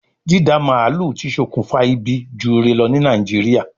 Dída màálù ti sokùnfa ibi ju ire lọ ní Nàìjíríà